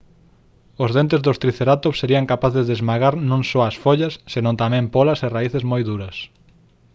os dentes dos tricerátops serían capaces de esmagar non só as follas senón tamén pólas e raíces moi duras